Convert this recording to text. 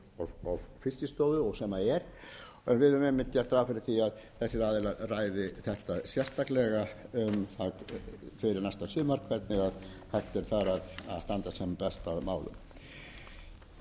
fiskistofu sem og er en við höfum einmitt gert ráð fyrir því að þessir aðilar ræði þetta sérstaklega fyrir næsta sumar hvernig hægt er þar að